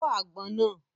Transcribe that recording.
Fọ́ àgbọn náà!